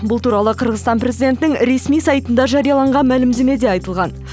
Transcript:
бұл туралы қырғызстан президентінің ресми сайтында жарияланған мәлімдемеде айтылған